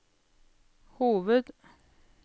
hoved